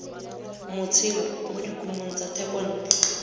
motshelo mo dikumong tsa thekontle